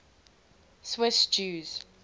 swiss jews